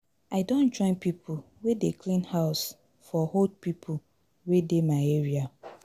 I don join pipo wey dey clean house for old pipo wey dey my area.